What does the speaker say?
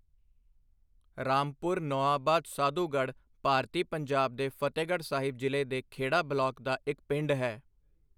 ਰਾਮਪੁਰ ਨੌਆਬਾਦ ਸਾਧੂਗੜ੍ਹ ਭਾਰਤੀ ਪੰਜਾਬ ਦੇ ਫ਼ਤਹਿਗੜ੍ਹ ਸਾਹਿਬ ਜ਼ਿਲ੍ਹੇ ਦੇ ਖੇੜਾ ਬਲਾਕ ਦਾ ਇੱਕ ਪਿੰਡ ਹੈ।